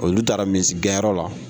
Olu taara misigɛnyɔrɔ la